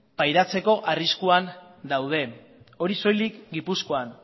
pairatzeko arriskuan daude hori soilik gipuzkoan